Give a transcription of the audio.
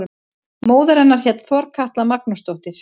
Móðir hennar hét Þorkatla Magnúsdóttir.